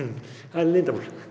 það er leyndarmál